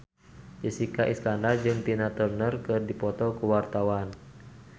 Jessica Iskandar jeung Tina Turner keur dipoto ku wartawan